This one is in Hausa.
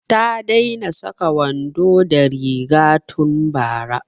Ta daina saka wando da riga tun bara